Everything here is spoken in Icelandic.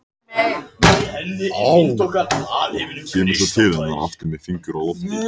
Fengur, heyrðu í mér eftir sjötíu og níu mínútur.